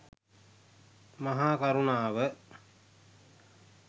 මහා කරුණාව